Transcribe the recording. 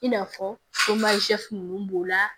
I n'a fɔ ninnu b'o la